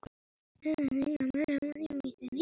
Mark eða ekki mark?